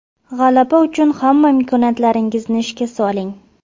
G‘alaba uchun hamma imkoniyatlaringizni ishga soling.